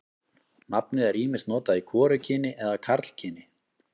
Nafnið er ýmist notað í hvorugkyni eða karlkyni.